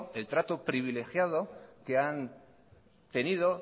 el trato privilegiado que han tenido